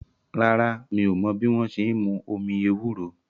Rárá, mi ò mọ́ bí wọ́n ṣe n mú omi ewúro